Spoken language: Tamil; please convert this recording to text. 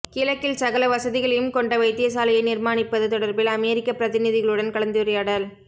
கிழக்கில் சகல வசதிகளையும் கொண்ட வைத்தியசாலையை நிர்மாணிப்பது தொடர்பில் அமெரிக்க பிரதிநிதிகளுடன் கலந்துரையாடல்